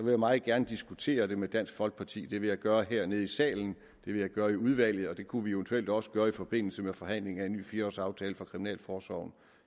jeg meget gerne diskutere det med dansk folkeparti det vil jeg gøre hernede i salen og vil jeg gøre i udvalget og det kunne vi eventuelt også gøre i forbindelse med forhandlingen om en ny flerårsaftale for kriminalforsorgen